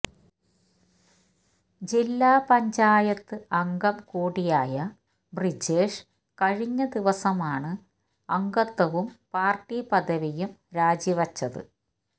ജില്ലാ പഞ്ചായത്ത് അംഗം കൂടിയായ ബ്രിജേഷ് കഴിഞ്ഞദിവസമാണ് അംഗത്വവും പാര്ട്ടിപദവിയും രാജിവച്ചത്